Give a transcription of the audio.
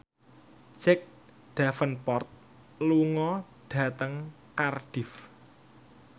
Jack Davenport lunga dhateng Cardiff